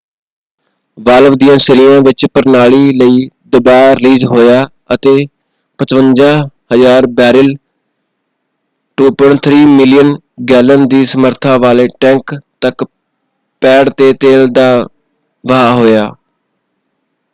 Valve ਦਿਆਂ ਸਿਰਿਆਂ ਵਿਚ ਪ੍ਰਣਾਲੀ ਲਈ ਦਬਾਅ ਰਿਲੀਜ਼ ਹੋਇਆ ਅਤੇ 55,000 ਬੈਰਲ 2.3 ਮਿਲੀਅਨ ਗੈਲਨ ਦੀ ਸਮਰੱਥਾ ਵਾਲੇ ਟੈਂਕ ਤੱਕ ਪੈਡ 'ਤੇ ਤੇਲ ਦਾ ਵਹਾਅ ਹੋਇਆ।